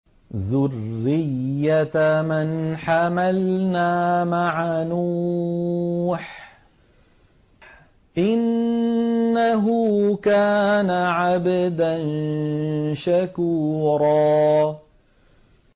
ذُرِّيَّةَ مَنْ حَمَلْنَا مَعَ نُوحٍ ۚ إِنَّهُ كَانَ عَبْدًا شَكُورًا